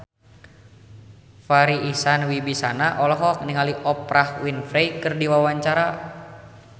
Farri Icksan Wibisana olohok ningali Oprah Winfrey keur diwawancara